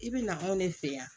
I bɛ na anw ne fɛ yan